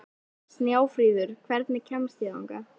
Snjáfríður, hvernig kemst ég þangað?